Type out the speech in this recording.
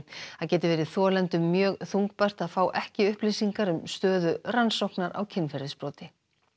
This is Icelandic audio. það geti verið þolendum mjög þungbært að fá ekki upplýsingar um stöðu rannsóknar á kynferðisbroti